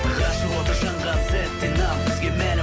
ғашық оты жанған сәттен ақ бізге мәлім